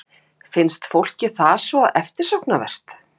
Finnst fólki það svo eftirsóknarvert?